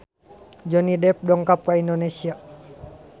Johnny Depp dongkap ka Indonesia